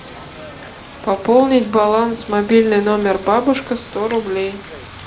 пополнить баланс мобильный номер бабушка сто рублей